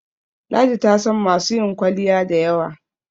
ladi tasan masu yin kwalliya da yawa